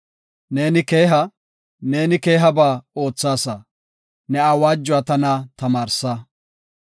Neeni keeha; neeni keehaba oothaasa; ne awaajuwa tana tamaarsa.